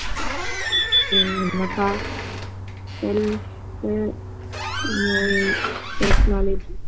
ஹம் என்னப்பா சொல்